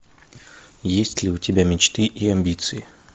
есть ли у тебя мечты и амбиции